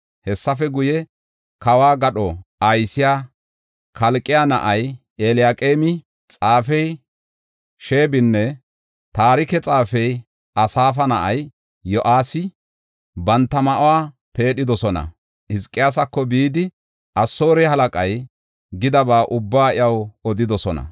Hessafe guye kawo gadho aysiya Kalqe na7ay Eliyaqeemi, xaafey Sheebinne taarike xaafey Asaafa na7ay Yo7aasi banta ma7uwa peedhidosona. Hizqiyaasako bidi Asoore halaqay gidaba ubbaa iyaw odidosona.